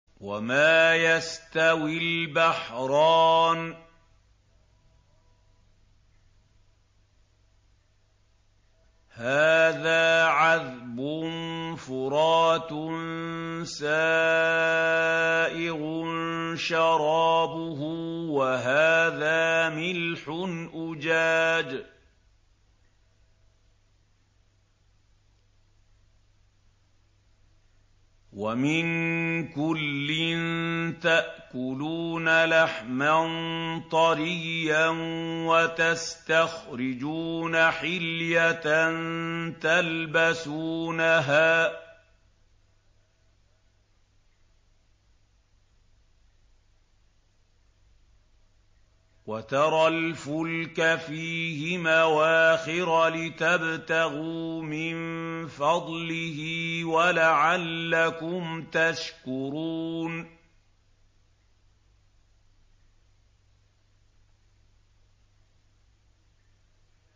وَمَا يَسْتَوِي الْبَحْرَانِ هَٰذَا عَذْبٌ فُرَاتٌ سَائِغٌ شَرَابُهُ وَهَٰذَا مِلْحٌ أُجَاجٌ ۖ وَمِن كُلٍّ تَأْكُلُونَ لَحْمًا طَرِيًّا وَتَسْتَخْرِجُونَ حِلْيَةً تَلْبَسُونَهَا ۖ وَتَرَى الْفُلْكَ فِيهِ مَوَاخِرَ لِتَبْتَغُوا مِن فَضْلِهِ وَلَعَلَّكُمْ تَشْكُرُونَ